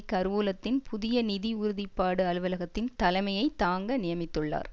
கருவூலத்தின் புதிய நிதி உறுதிப்பாடு அலுவலகத்தின் தலைமையை தாங்க நியமித்துள்ளார்